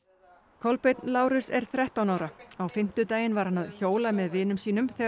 Kolbeinn Lárus er þrettán ára á fimmtudaginn var hann að hjóla með vinum sínum þegar